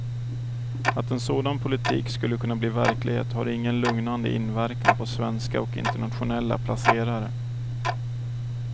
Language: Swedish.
Att en sådan politik skulle kunna bli verklighet har ingen lugnande inverkan på svenska och internationella placerare.